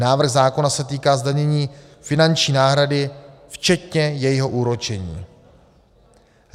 Návrh zákona se týká zdanění finanční náhrady včetně jejího úročení.